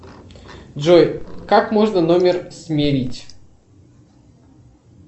джой как можно номер сменить